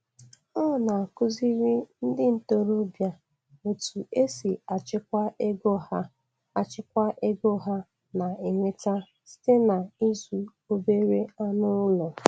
Ọ na-akụziri ndị ntorobịa otu esi achịkwa ego ha achịkwa ego ha na-enweta site n’ịzụ obere anụ ụlọ.